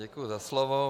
Děkuji za slovo.